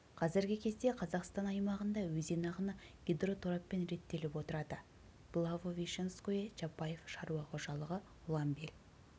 қазіргі кезде қазақстан аймағында өзен ағыны гидротораппен реттеліп отырады благовещенское чапаев шаруа қожалығы ұланбел